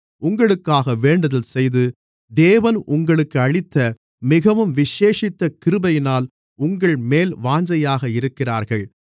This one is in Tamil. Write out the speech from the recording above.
உங்களுக்காக வேண்டுதல்செய்து தேவன் உங்களுக்கு அளித்த மிகவும் விசேஷித்த கிருபையினால் உங்கள்மேல் வாஞ்சையாக இருக்கிறார்கள்